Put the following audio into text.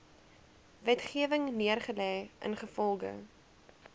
wetgewing neergelê ingevolge